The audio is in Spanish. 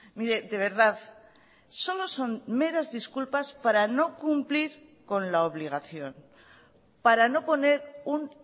mire de verdad solo son meras disculpas para no cumplir con la obligación para no poner un